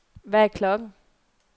Hvad er klokken